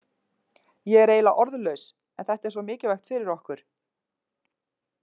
Ég er eiginlega orðlaus en þetta er svo mikilvægt fyrir okkur.